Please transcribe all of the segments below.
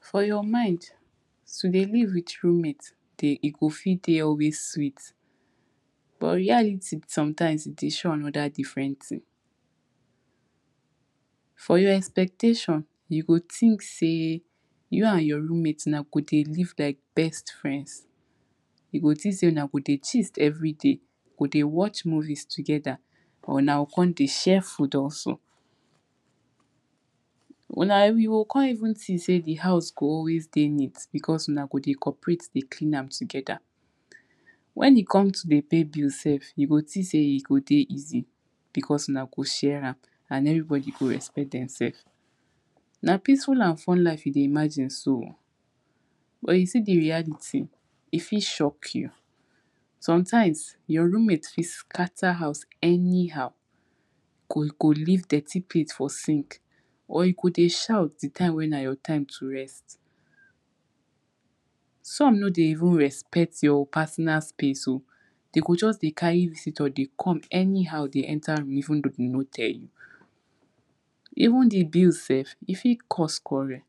for your mind, to de live with roommates de e go fit de always sweet but reality sometimes e de show another different thing. for your expectations, you go think say you and your roommate na go de live like best friends. you go think say una go de gist everyday, go de watch movies together or una go come de share food also una you go come even think say de house go always dey neat because una go de cooperate de clean am together. wen e come to de pay bill sef you go think sey e go de easy because una go share am and everybody go respect dem self. na peaceful and fun life you de imagine so. but you see de reality, e fit shock you. sometimes your roommate fit scatter house anyhow, go go leave dirty plate for sink or e go de shout de time when i return to rest. some no de even respect your personal space o, dey go just de carry visitor de come anyhowde enta room even though de no tell you. even de bills sef e fit cause quarrel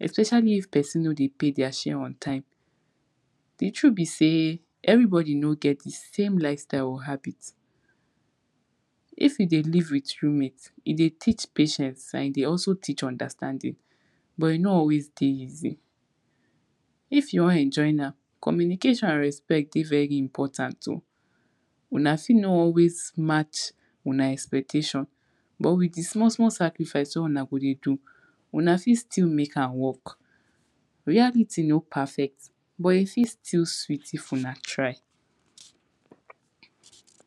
especially if person no de pay their share on time. di truth be say everybody no get the same life style or habit. if you de live with roommate, e de teach patience and e de also teach understanding but e no always dey easy. if you wan enjoy now, communication and respect de very important o. una no always match una expectations but with di small small sacrifice where una go de do, una fit still make am work. reality no perfect, but e fit still sweet if una try.